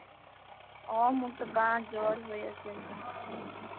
অহ। মোৰটো কাহঁ জ্বৰ হৈ আছে এক্দম।